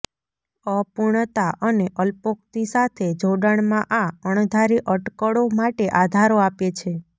અપૂર્ણતા અને અલ્પોક્તિ સાથે જોડાણમાં આ અણધારી અટકળો માટે આધારો આપે છે